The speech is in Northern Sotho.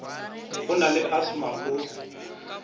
o na le asthma o